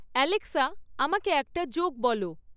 Alexa আমাকে একটা joke বলো